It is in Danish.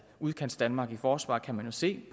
udkantsdanmark i forsvar kan man se